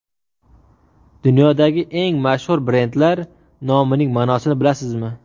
Dunyodagi eng mashhur brendlar nomining ma’nosini bilasizmi?.